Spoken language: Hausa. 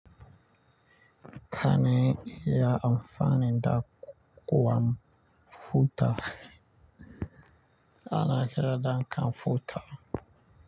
Kane ya amfani da kwamfuta. Ana kira dam kamfuta.